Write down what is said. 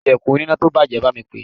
Kí ilẹ̀kùn oníná tó bàjẹ́ máa ń pé.